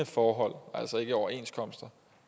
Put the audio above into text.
forhold altså ikke overenskomster